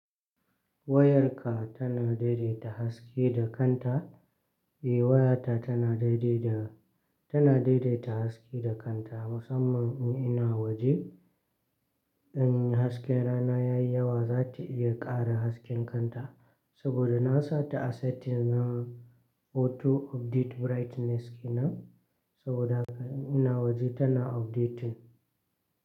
Wayarka tana daidaita haske da kanta, eh waya ta tana daidai da, tana daidaita haske da kanta. Musamman in ina waje, in hasken rana ya yi yawa, za ta iya ƙara hasken kanta saboda nasa ta asaitin na auto update brightness kenan. Saboda haka in ina waje tana update.